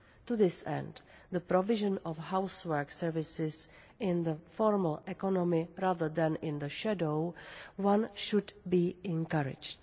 To this end, the provision of housework services in the formal economy, rather than in the shadow one, should be encouraged.